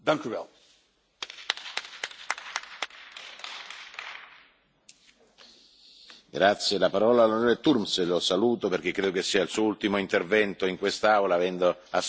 La parola all'on. Turmes. Lo saluto perché credo sia il suo ultimo intervento in quest'Aula, avendo assunto responsabilità di governo nel suo paese, e gli formulo i migliori auguri a nome di tutti quanti noi di buon lavoro in Lussemburgo.